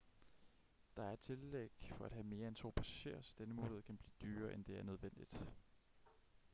der er et tillæg for at have mere end 2 passagerer så denne mulighed kan blive dyrere end det er nødvendigt